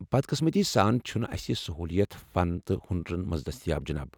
بد قٕسمتی سان چھنہٕ اسہ یہ سہوٗلیت فن تہ ہنرن منٛز دٔستیاب ،جِناب ۔